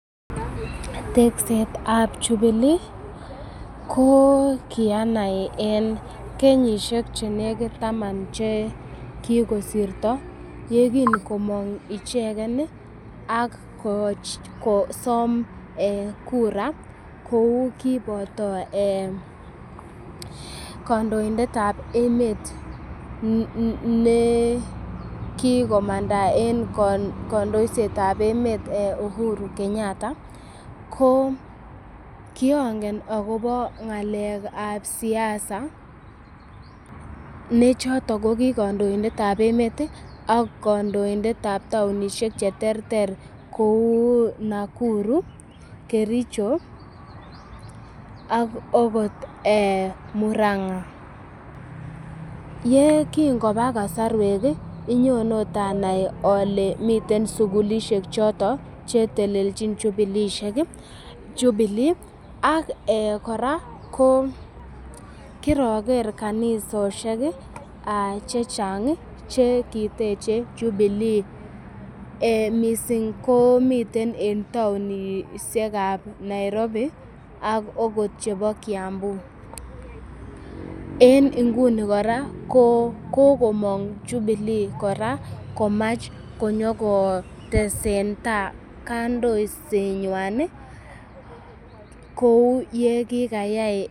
Teksetab jubilee ko kianai eng kenyishek chelekit taman che kikosirto yekingomong icheken ak kosom kura kou kipoto kandoindet ap emet nekikomangta eng kandoiset ap emet Uhuru Kenyatta ko kiangen akopo ng'alek ap siasa nechoto ko kikandoindet ap emet ak kandoindet ap taonishek che terter kou Nakuru, kericho ak okot muranga yekingopa kosorwek nyonot anai ale miten sukulishek choto chetelelchini jubilee ak kora ko kiroker kanisoshek chechang cheki techei jubilee mising komiten eng taonishek ap Nairobi ak okot chepo kiambu en nguni kora kokomong jubilee kora komach konyokotesen kandoisengwan kou yekikayai